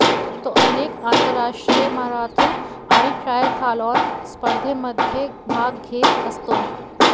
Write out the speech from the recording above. तो अनेक आंतरराष्ट्रीय मॅरेथॉन आणि ट्रायथॉलॉन स्पर्धेमध्ये भाग घेत असतो